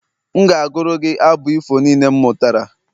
M ga-agụru gị abụ ifo niile m mụtara